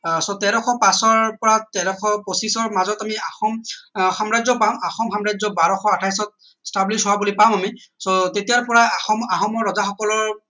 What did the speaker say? আহ so তেৰশ পাঁচৰ পৰা তেৰশ পঁচিশৰ মাজত আমি আহোম আহ সাম্ৰাজ্য পাম আহোম সাম্ৰাজ্য বৰাশ আঠাইশ ত stablish হোৱা বুলি পাম আমি so তেতিয়া পৰা আহোমৰ ৰজা সকলৰ